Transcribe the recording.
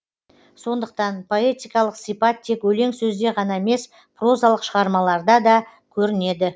сондықтан поэтикалық сипат тек өлең сөзде ғана емес прозалық шығармаларда да көрінеді